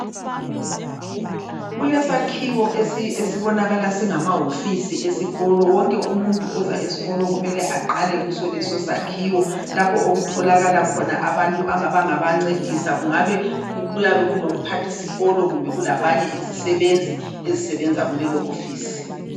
Kulesakhiwo esibonakala singama hofisi esikolo wonke umuntu oza esikolo kumele aqale kuso leso sakhiwo lapho okutholakala khona abantu abangaba ncedisa kungabe kulo mphathi sikolo kumbe kulabanye izisebenzi ezesebenza kulelo hofisi.